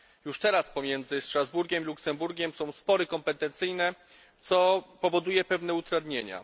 Już teraz pomiędzy Strasburgiem i Luksemburgiem są spory kompetencyjne, co powoduje pewne utrudnienia.